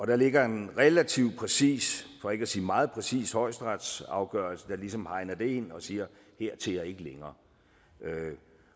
der ligger en relativt præcis for ikke sige meget præcis højesteretsafgørelse der ligesom hegner det ind og siger hertil og ikke længere